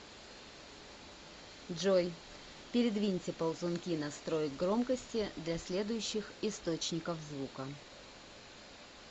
джой передвиньте ползунки настроек громкости для следующих источников звука